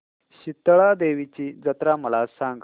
शितळा देवीची जत्रा मला सांग